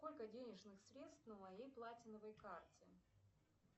сколько денежных средств на моей платиновой карте